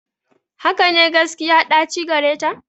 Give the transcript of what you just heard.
Hakane, gaskiya ɗaci gareta.